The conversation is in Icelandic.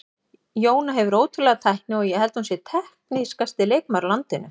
Jóna hefur ótrúlega tækni og ég held hún sé teknískasti leikmaður á landinu.